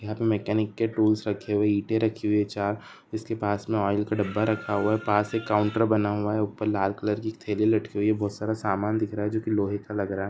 यहाँ पे मेकेनिक के टूल्स रखे हुए ईटें रखी हुई है चार जिसके पास में ऑइल का डब्बा रखा हुआ है पास एक काउंटर बना हुआ है ऊपर लाल कलर थैली लटकी हुई है बहुत सारा सामान दिख रहा है जोकि लोहे का लग रहा है।